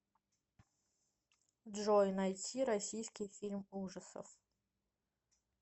джой найти российский фильм ужасов